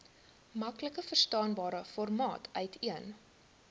maklikverstaanbare formaat uiteen